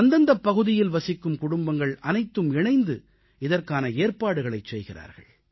அந்தந்தப் பகுதியில் வசிக்கும் குடும்பங்கள் அனைத்தும் இணைந்து இதற்கான ஏற்பாடுகளைச் செய்கிறார்கள்